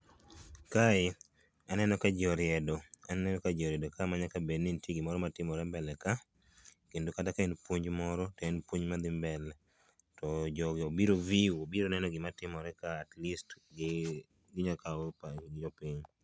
kae aneno ka ji oriedo ,aneno ka ji oriedo ka manyaka bed ni nitie gima timore mbele ka kendo kata ka en puonj moro, to en puonj madhi mbele to jogi obiro view obiro neno gima timore ka atleast gi nyalo kawo go pach jopiny.